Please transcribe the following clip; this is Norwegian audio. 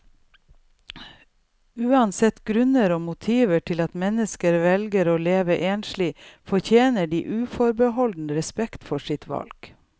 Uansett grunner og motiver til at mennesker velger å leve enslig, fortjener de uforbeholden respekt for sitt valg.